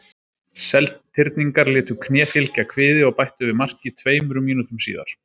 Seltirningar létu kné fylgja kviði og bættu við marki tveimur mínútum síðar.